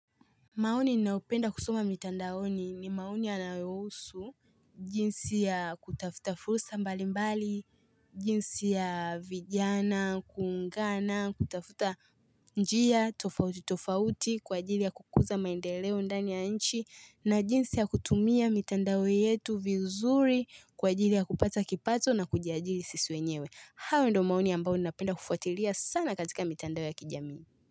Maoni ninayonpenda kusoma mitandaoni ni maoni yanayohusu, jinsi ya kutafuta fursa mbali mbali, jinsi ya vijana, kuungana, kutafuta njia, tofauti tofauti, kwa ajili ya kukuza maendeleo ndani ya nchi, na jinsi ya kutumia mitandao yetu vizuri, kwa ajili ya kupata kipato na kujiajili sisi wenyewe. Hayo ndo maoni ambayo napenda kufuatilia sana katika mitandao ya kijamii.